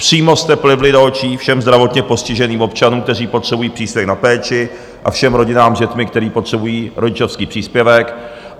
Přímo jste plivli do očí všem zdravotně postiženým občanům, kteří potřebují příspěvek na péči, a všem rodinám s dětmi, které potřebují rodičovský příspěvek.